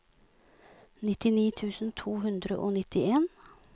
nittini tusen to hundre og nittien